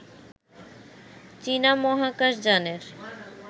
চীনা মহাকাশ যানের